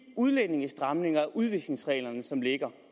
udlændingestramninger udvisningsregler som ligger